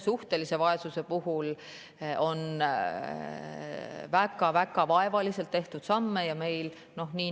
Suhtelise vaesuse puhul on väga vaevaliselt tehtud samme.